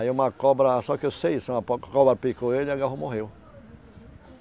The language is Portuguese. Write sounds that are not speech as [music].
Aí uma cobra, só que eu sei isso, uma [unintelligible] cobra picou ele e agarrou morreu.